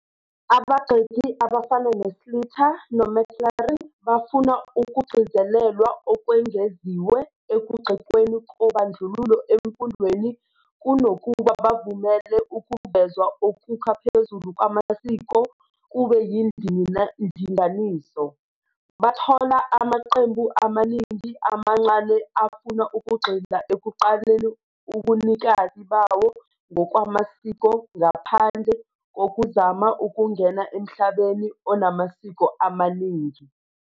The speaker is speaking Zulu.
Abagxeki abafana no-Sleeter noMcLaren bafuna ukugcizelelwa okwengeziwe ekugxekweni kobandlululo emfundweni kunokuba bavumele ukuvezwa okukha phezulu kwamasiko kube yindinganiso. Bathola ukuthi amaqembu amaningi amancane afuna ukugxila ekuqaleni ubunikazi bawo ngokwamasiko ngaphandle kokuzama ukungena emhlabeni onamasiko amaningi.